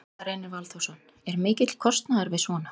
Gunnar Reynir Valþórsson: Er mikill kostnaður við svona?